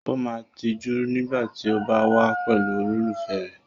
O máa n tijú nígbà tí o ba wa pẹ̀lú olólùfẹ́ rẹ.